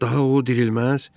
Daha o dirilməz.